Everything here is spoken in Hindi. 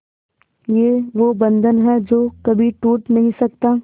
ये वो बंधन है जो कभी टूट नही सकता